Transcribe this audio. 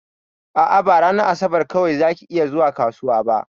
A'a, ba ranar asabar kawai zaki iya zuwa kasuwa ba.